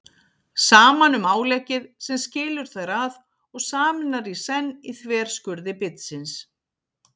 Saman um áleggið sem skilur þær að og sameinar í senn í þverskurði bitsins